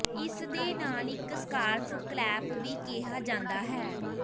ਇਸ ਦੇ ਨਾਲ ਇੱਕ ਸਕਾਰਫ ਕਲੈਪ ਵੀ ਕਿਹਾ ਜਾਂਦਾ ਹੈ